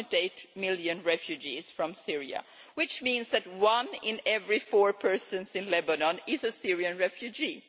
1.8 million refugees from Syria, which means that one in every four persons in Lebanon is a Syrian refugee.